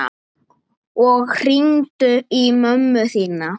Og hringdu í mömmu þína.